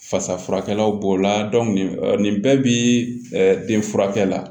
Fasa furakɛlaw b'o la nin bɛɛ bi den furakɛ la